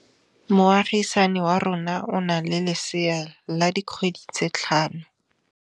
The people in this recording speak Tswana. Moagisane wa rona o na le lesea la dikgwedi tse tlhano.